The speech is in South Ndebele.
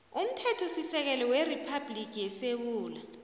somthethosisekelo weriphabhligi yesewula